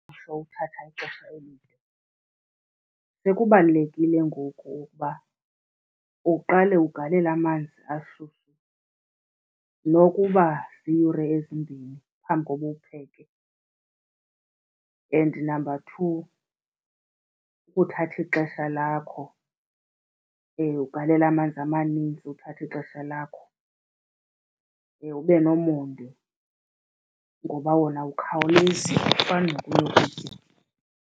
Sekubalulekile ngoku ukuba uqale ugalele amanzi ashushu nokuba ziyure ezimbini phambi kokuba uwupheke. And namba two, kuthatha ixesha lakho ugalele amanzi amanintsi uthathe ixesha lakho, ube nomonde ngoba wona awukhawulezi, awufani nokunye ukutya.